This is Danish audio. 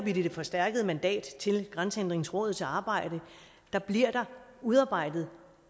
i det forstærkede mandat til grænsehindringsrådets arbejde bliver der udarbejdet